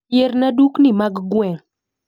Yierna dukni magweng'